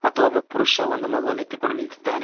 ಮತ್ತು ಒಬ್ಬ ಪುರುಷ ಒಂದು ಮಗುವನ್ನು ಎತ್ತಿಕೊಂಡು ನಿಂತಿದ್ದಾನೆ.